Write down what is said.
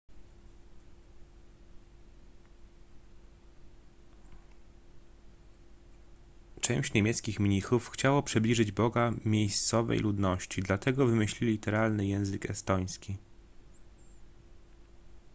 część niemieckich mnichów chciało przybliżyć boga miejscowej ludności dlatego wymyślili literalny język estoński